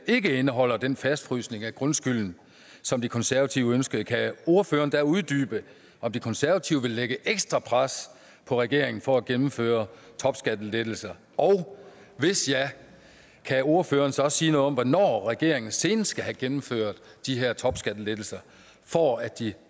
ikke indeholder den fastfrysning af grundskylden som de konservative ønskede kan ordføreren da uddybe om de konservative vil lægge ekstra pres på regeringen for at gennemføre topskattelettelser og hvis ja kan ordføreren så sige noget om hvornår regeringen senest skal have gennemført de her topskattelettelser for at de